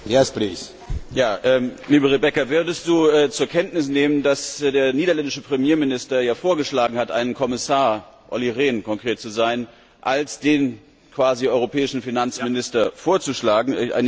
Herr Präsident! Liebe Rebecca, würdest Du zur Kenntnis nehmen, dass der niederländische Premierminister ja vorgeschlagen hat, einen Kommissar Olli Rehn, um konkret zu sein als den quasi europäischen Finanzminister vorzuschlagen?